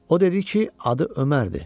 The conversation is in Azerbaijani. O dedi ki, adı Ömərdir.